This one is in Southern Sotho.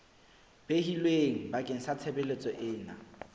behilweng bakeng sa tshebeletso ena